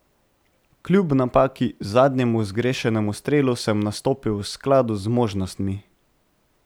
Kljub napaki, zadnjemu zgrešenemu strelu, sem nastopil v skladu z zmožnostmi.